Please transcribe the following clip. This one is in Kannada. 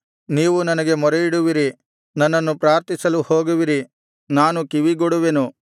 ನೀವು ನನಗೆ ಮೊರೆಯಿಡುವಿರಿ ನನ್ನನ್ನು ಪ್ರಾರ್ಥಿಸಲು ಹೋಗುವಿರಿ ನಾನು ಕಿವಿಗೊಡುವೆನು